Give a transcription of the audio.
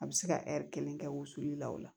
A bɛ se ka kelen kɛ wusuli la o la